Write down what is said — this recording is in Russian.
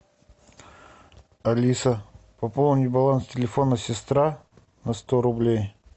алиса пополни баланс телефона сестра на сто рублей